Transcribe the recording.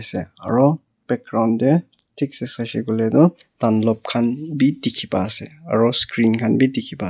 se aro background tae thik sae saishey koilae tu danlop khan bi dikhipa ase aro screen khan bi dikhi pa ase.